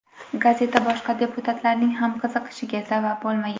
Gazeta boshqa deputatlarning ham qiziqishiga sabab bo‘lmagan.